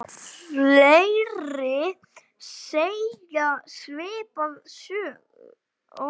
Fleiri segja svipaða sögu.